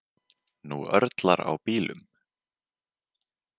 Nú örlar á bílum.